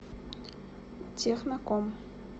техноком